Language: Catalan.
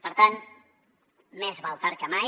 per tant més val tard que mai